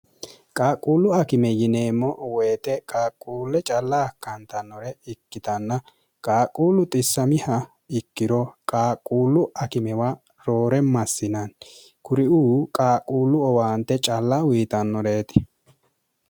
qaaqquullu akime yineemmo woyite qaaqquulle calla akkaantannore ikkitanna qaaquullu xissamiha ikkiro qaaqquullu akimewa roore massinanni kuriu qaaqquullu owaante calla wiitannoreeti